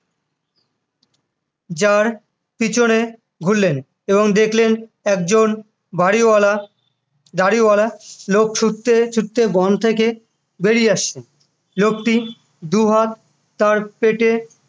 jar পিছনে ঘুরলেন এবং দেখলেন একজন বাড়িওয়ালা দাঁড়িওয়ালা লোক ছুটতে ছুটতে বন থেকে বেরিয়ে আসছে লোকটি দুহাত তার পেটে